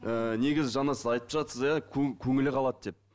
ііі негізі жаңа сіз айтып жатырсыз иә көңілі қалады деп